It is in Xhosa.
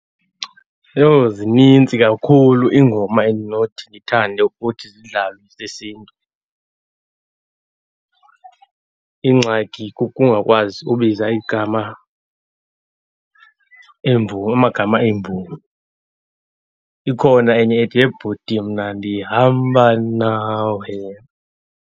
Yho, zinintsi kakhulu iingoma endinothi ndithande ukuthi zidlalwe ezesiNtu . Ingxaki kukungakwazi ukubiza igama emvumi, amagama eemvumi. Ikhona enye ethi, yhe bhuti mna ndihamba nawe.